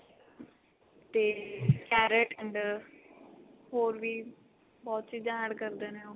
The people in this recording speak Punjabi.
ਤੇ carrot and ਹੋਰ ਵੀ ਬਹੁਤ ਚੀਜ਼ਾਂ add ਕਰਦੇ ਨੇ